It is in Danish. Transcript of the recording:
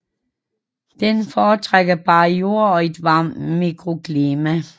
Den fortrækker bar jord og et varmt mikroklima